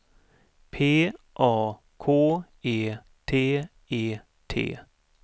P A K E T E T